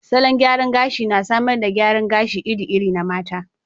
Salon gyaran gashi na samar da gyaran gashi iri-iri na mata.